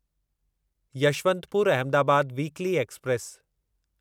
Yesvantpur Ahmedabad weekly express